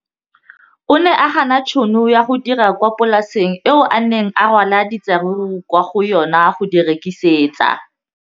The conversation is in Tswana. O ne a gana tšhono ya go dira kwa polaseng eo a neng rwala diratsuru kwa go yona go di rekisa.